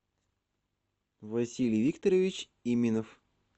василий викторович именов